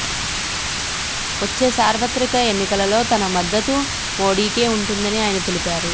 వచ్చే సార్వత్రిక ఎన్నికలలో తన మద్దతు మోడీకే ఉంటుందని ఆయన తెలిపారు